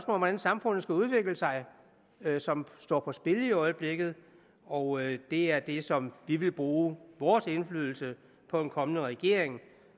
om hvordan samfundet skal udvikle sig som står på spil i øjeblikket og det er det som vi vil bruge vores indflydelse på en kommende regering